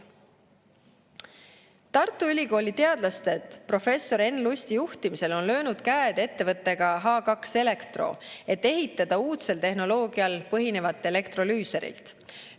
Tartu Ülikooli teadlased professor Enn Lusti juhtimisel on löönud käed ettevõttega H2Electro, et ehitada uudsel tehnoloogial põhinevat elektrolüüserit.